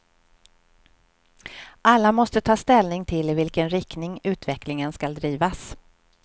Alla måste ta ställning till i vilken riktning utvecklingen skall drivas.